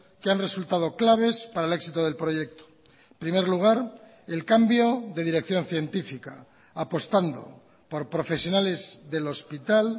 que han resultado claves para el éxito del proyecto en primer lugar el cambio de dirección científica apostando por profesionales del hospital